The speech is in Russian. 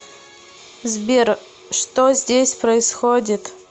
сбер что здесь происходит